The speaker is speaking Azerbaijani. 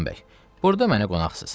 Süleyman bəy, burda mənə qonaqsız.